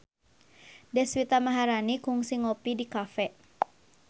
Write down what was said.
Deswita Maharani kungsi ngopi di cafe